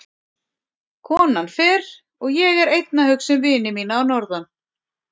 Konan fer og ég er einn að hugsa um vini mína að norðan.